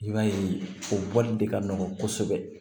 I b'a ye o bɔli de ka nɔgɔn kosɛbɛ